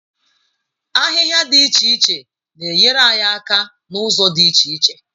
Ahịhịa dị iche iche na-enyere anyị aka n'ụzọ dị iche iche.